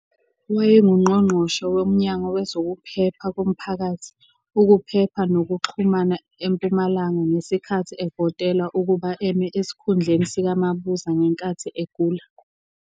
WayenguNgqongqoshe woMnyango wezokuPhepha koMphakathi, ukuPhepha nokuXhumana eMpumalanga ngesikhathi evotelwa ukuba eme esikhundleni sikaMabuza ngenkathi egula.